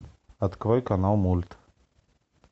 открой канал мульт